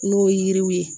N'o ye yiriw ye